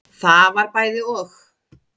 Það var bæði og.